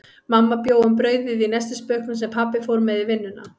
Mamma bjó um brauðið í nestisbauknum, sem pabbi fór með í vinnuna.